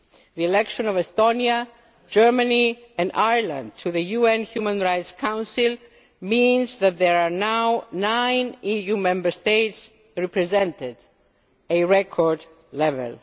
live. The election of Estonia, Germany and Ireland to the UN Human Rights Council means that there are now nine EU Member States represented a record